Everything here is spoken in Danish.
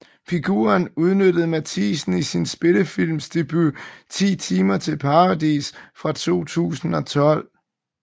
Figuren udnyttede Matthiesen i sin spillefilmsdebut 10 timer til Paradis fra 2012